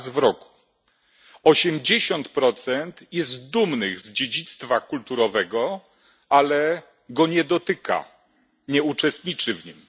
Raz w roku! 80 jest dumnych z dziedzictwa kulturowego, ale go nie dotyka, nie uczestniczy w nim.